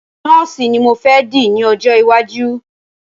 Nọ́ọ̀sì ní mo fẹ́ di ní ọjọ́ iwájú.